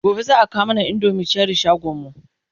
gobe zaa kawo mana indomin Cherie shagonmu